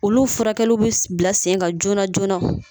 Olu furakɛli bi bila sen kan joona joona.